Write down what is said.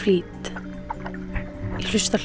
hlusta